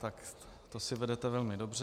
Tak to si vedete velmi dobře.